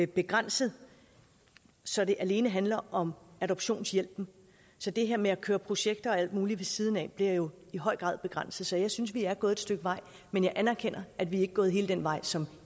begrænset så det alene handler om adoptionshjælpen så det her med at køre projekter og alt muligt ved siden af bliver jo i høj grad begrænset så jeg synes at vi er gået et stykke vej men jeg anerkender at vi ikke er gået hele den vej som